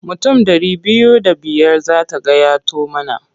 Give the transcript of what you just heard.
Mutum ɗari biyu da biyar za ta gayyato mana.